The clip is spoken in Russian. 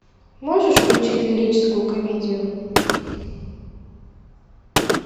можешь включить лирическую комедию